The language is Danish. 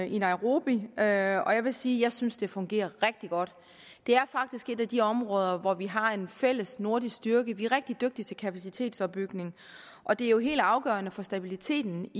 i nairobi og jeg vil sige at jeg synes det fungerer rigtig godt det er faktisk et af de områder hvor vi har en fælles nordisk styrke de er rigtig dygtige til kapacitetsopbygning og det er jo helt afgørende for stabiliteten